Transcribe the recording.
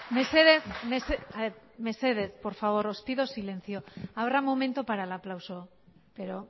mesedez mesedez por favor os pido silencio habrá momento para el aplauso pero